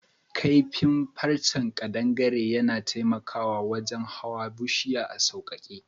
Kaifi farrche kadangare yana taimaka wajen hawan bushiya a saukake.